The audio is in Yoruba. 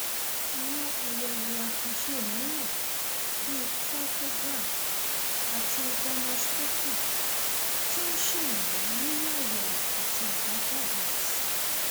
àwọn àyẹwò àkànṣe mìíràn bíi trichogram àti dermoscopy tún ń ṣèrànwọ nínú àyẹwò àti àbájáde àìsàn